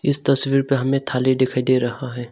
इस तस्वीर पर हमे थाली दिखाई दे रहा है।